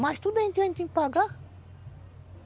Mas tudo a gente tem que pagar.